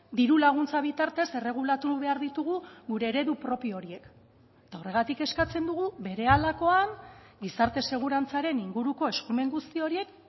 diru laguntza bitartez erregulatu behar ditugu gure eredu propio horiek eta horregatik eskatzen dugu berehalakoan gizarte segurantzaren inguruko eskumen guzti horiek